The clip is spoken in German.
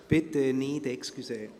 Bitte nicht – Entschuldigung.